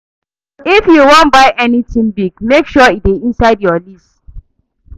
If you wan buy anytin big, make sure e dey inside your list.